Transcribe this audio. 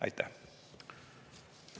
Aitäh!